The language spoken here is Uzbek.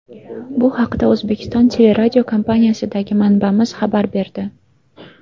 Bu haqda O‘zbekiston Teleradiokompaniyasidagi manbamiz xabar berdi.